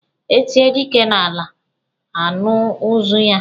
E tie dike n'ala, a nụ ụzụ ya.